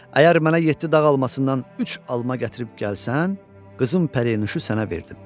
Əgər mənə yeddi dağ almasından üç alma gətirib gəlsən, qızım Pərinüşü sənə verdim.